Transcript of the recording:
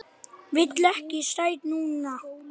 Vil ekkert sætt núna.